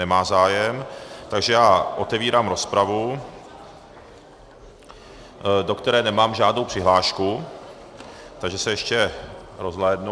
Nemá zájem, takže já otevírám rozpravu, do které nemám žádnou přihlášku, takže se ještě rozhlédnu.